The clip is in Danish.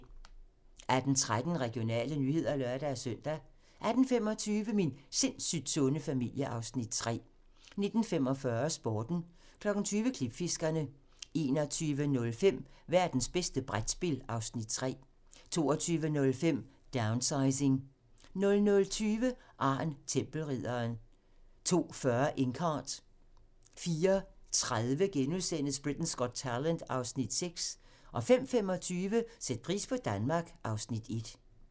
18:13: Regionale nyheder (lør-søn) 18:25: Min sindssygt sunde familie (Afs. 3) 19:45: Sporten 20:00: Klipfiskerne 21:05: Værtens bedste brætspil (Afs. 3) 22:05: Downsizing 00:20: Arn Tempelridderen 02:40: Inkheart 04:30: Britain's Got Talent (Afs. 6)* 05:25: Sæt pris på Danmark (Afs. 1)